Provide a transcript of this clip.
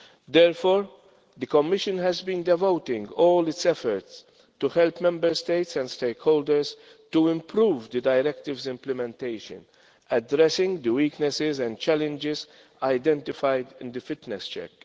Therefore, the Commission has been devoting all its efforts to helping Member States and stakeholders to improve the directives' implementation, addressing the weaknesses and challenges identified in the fitness check.